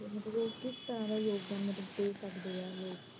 ਤਾ ਕਿਸ ਤਰ੍ਹਾਂ ਦਾ ਯੋਗਦਾਨ ਦੇ ਸਕਦੇ ਆ ਲੋਕ?